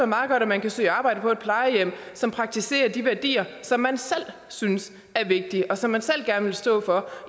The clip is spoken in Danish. meget godt at man kan søge arbejde på et plejehjem som praktiserer de værdier som man selv synes er vigtige og som man selv gerne vil stå for